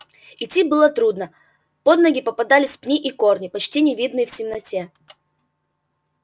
идти было трудно под ноги попадались пни и корни почти не видные в темноте